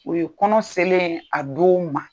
O ye kɔnɔ selen ye a don ma.